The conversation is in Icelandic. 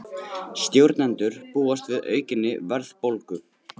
Stjórnendur búast við aukinni verðbólgu